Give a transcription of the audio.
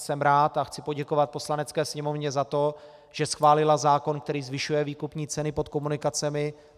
Jsem rád a chci poděkovat Poslanecké sněmovně za to, že schválila zákon, který zvyšuje výkupní ceny pod komunikacemi.